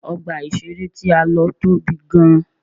Ọgbà ìṣeré tí a lọ tóbi gan.